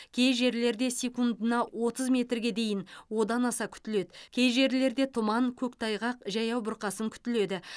кей жерлерде секундына отыз метрге дейін және одан аса күтіледі кей жерлерде тұман көктайғақ жаяу бұрқасын күтіледі